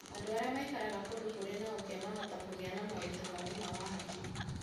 Andũ arĩa maikaraga kũndũ kũrĩ na ũkĩa mahota kũgĩa moritũ ma ũgima wa hakiri.